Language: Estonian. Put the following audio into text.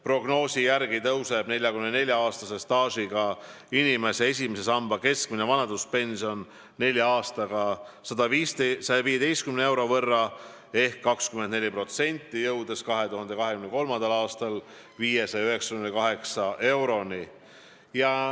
Prognoosi järgi tõuseb 44-aastase staažiga inimese esimese samba keskmine vanaduspension nelja aastaga 115 euro võrra ehk 24%, jõudes 2023. aastal 598 euroni.